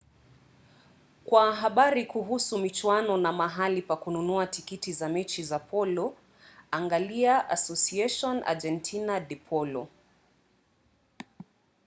kwa habari kuhusu michuano na mahali pa kununua tikiti za mechi za polo angalia asociacion argentina de polo